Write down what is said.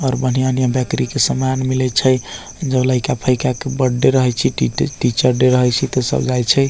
और बढ़िया-बढ़िया बेकरी के समान मिलये छै जब लइका फईका के बर्थडे रहे छै टी टीचर डे रहे छै ते सब जाय छै।